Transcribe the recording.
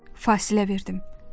Fasilə verdim.